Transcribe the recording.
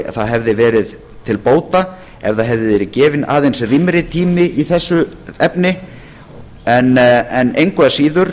það hefði verið til bóta ef það hefði verið gefinn aðeins rýmri tími í þessu efni en engu að síður